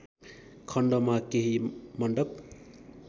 खण्डमा केही मण्डप